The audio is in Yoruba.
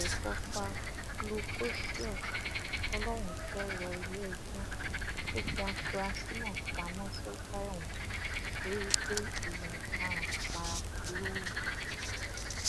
àgbẹfọfà zglucoseus folorunshò rọ iléẹjọ kò fi àfúráṣí náà pamọ sọgbà ẹwọn torí pé ìwà ọdaràn paraku ló hù